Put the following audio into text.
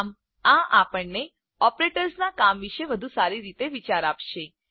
આમ આ આપણને ઓપરેટર્સના કામ વિશે વધુ સારી રીતે વિચાર આપશે